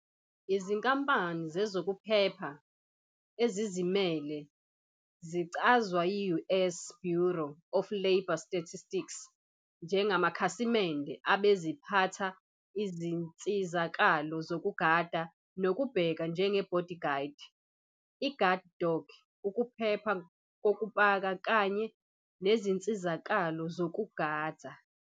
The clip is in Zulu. Izinkampani zezokuphepha ezizimele zicazwa yi-U. S. Bureau of Labor Statistics njengamakhasimende abeziphatha izinsizakalo zokugada nokubheka, njenge-bodyguard, i-guard dog, ukuphepha kokupaka, kanye nezinsizakalo zokugadza.